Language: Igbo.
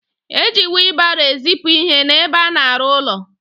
Eji wilbaro ezipu ihe n'ebe a na-arụ ụlọ